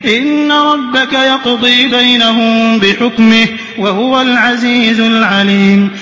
إِنَّ رَبَّكَ يَقْضِي بَيْنَهُم بِحُكْمِهِ ۚ وَهُوَ الْعَزِيزُ الْعَلِيمُ